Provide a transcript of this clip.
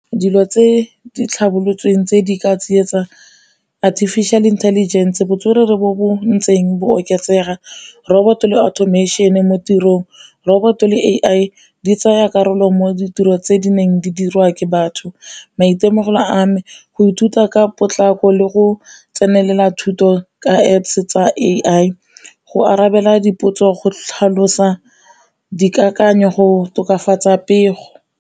Dilo tse di tlhabolotsweng tse di ka tsietsa artificial intelligence botswerere bo bo ntseng bo oketsega, roboto le automation mo tirong. Roboto le A_I di tsaya karolo mo ditiro tse di neng di dirwa ke batho. Maitemogelo a me go ithuta ka potlako le go tsenelela thuto ka Apps tsa A_I, go arabela dipotso go tlhalosa dikakanyo go tokafatsa pego.